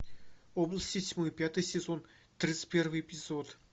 области тьмы пятый сезон тридцать первый эпизод